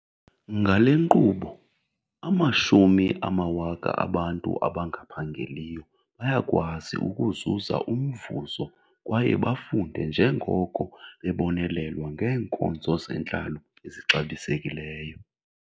Ngale nkqubo, amashumi amawaka abantu abangaphangeliyo bayakwazi ukuzuza umvuzo kwaye bafunde njengoko bebonelelwa ngeenkonzo zentlalo ezixabisekileyo.